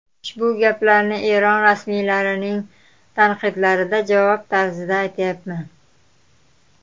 Ushbu gaplarni Eron rasmiylarining tanqidlariga javob tarzida aytayapman.